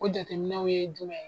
O jateminw ye jumɛn ye ?